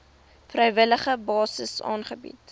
vrywillige basis aangebied